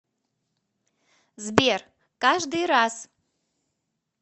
сбер каждый раз